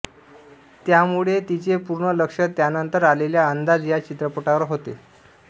त्यामुळे तिचे पूर्ण लक्ष त्यानंतर आलेल्या अंदाज या चित्रपटावर होते